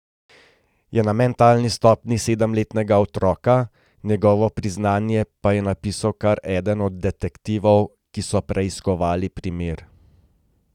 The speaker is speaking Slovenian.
Je na mentalni stopnji sedemletnega otroka, njegovo priznanje pa je napisal kar eden od detektivov, ki so preiskovali primer.